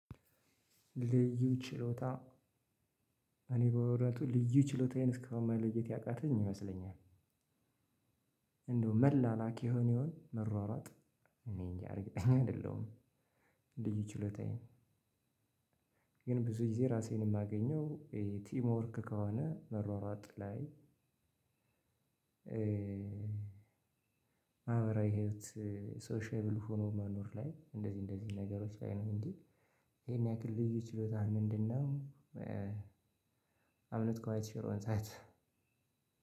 ልዩ ችሎታ እኔ በእውነቱ ልዩ ችሎታዬን እስከአሁን መለየት ያቃተኝ ይመስለኛል። እንደው መላላክ የሆነ ይሆን መሯሯጥ እኔ እንጃ እርግጠኛ አይደለሁም። ልዩ ችሎታየን ግን ብዙ ጊዜ ራሴን እማገኘው ቲም ወርክ ከሆነ መሯሯጥ ላይ። ማህበራዊ ህይወት ሶሺየብል ሆኖ መኖር ላይ እንደዚህ እንደዚህ ነገሮች ላይ ነው እንጂ። ይሄን ያክል ልዩ ችሎታህ ምንድን ነው? አም ኖት ኳይት ሹር ኦን ዛት